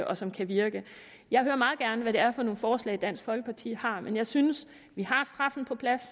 og som kan virke jeg hører meget gerne hvad det er for nogle forslag dansk folkeparti har men jeg synes at vi har straffen på plads